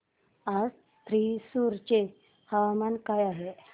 आज थ्रिसुर चे हवामान काय आहे